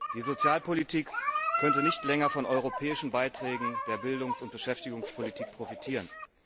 Die Sozialpolitik könnte nicht länger von europäischen Beiträgen für Bildungs und Beschäftigungspolitik profitieren.